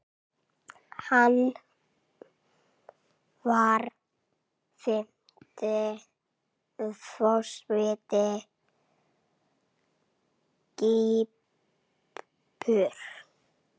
Hann var fimmti forseti Kýpur.